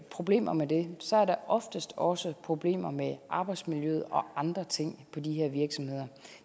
problemer med det så er der oftest også problemer med arbejdsmiljøet og andre ting på de her virksomheder